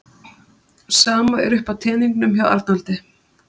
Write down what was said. Sama er uppi á teningnum hjá Arnaldi